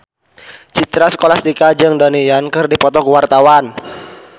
Citra Scholastika jeung Donnie Yan keur dipoto ku wartawan